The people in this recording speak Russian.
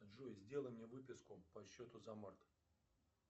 джой сделай мне выписку по счету за март